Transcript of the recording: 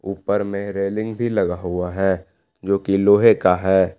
ऊपर मे रेलिंग भी लगा हुआ है जो की लोहे का है।